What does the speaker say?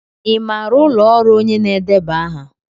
Ị maara ụlọ ọrụ onye na-edeba aha?